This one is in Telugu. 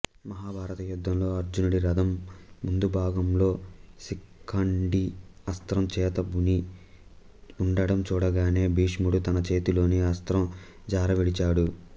మహాభారత యుద్ధంలో అర్జునుడిరథం ముందుభాగంలో శిఖండి అస్త్రం చేతబూని ఉండడం చూడగానే భీష్ముడు తన చేతిలోని అస్త్రం జారవిడిచాడు